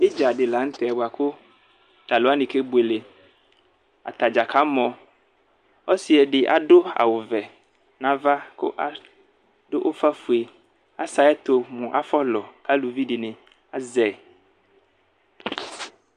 Idza di lanʋtɛ bʋakʋ alʋɛdini kebuele atadza kamɔ ɔsidi adʋ awʋvɛ nʋ ava kʋ adʋ ʋfafue sɛ ayʋ ɛtʋ mʋ afɔlɔ kʋ alʋvi dini azɛ